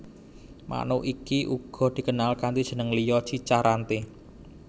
Manuk iki uga dikenal kanti jeneng liya cica rante